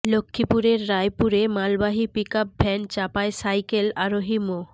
লক্ষ্মীপুরের রায়পুরে মালবাহী পিকআপ ভ্যান চাপায় সাইকেল আরোহী মো